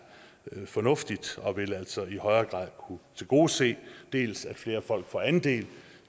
fornuftigt og vil altså i højere grad kunne tilgodese dels at flere folk får andel